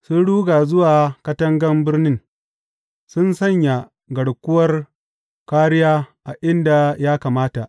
Sun ruga zuwa katangan birnin, sun sanya garkuwar kāriya a inda ya kamata.